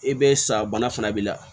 I bɛ sa bana fana b'i la